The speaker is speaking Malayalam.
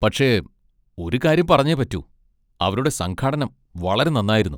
പക്ഷെ ഒരു കാര്യം പറഞ്ഞേ പറ്റൂ, അവരുടെ സംഘാടനം വളരെ നന്നായിരുന്നു.